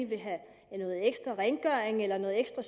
vil have noget ekstra rengøring eller noget ekstra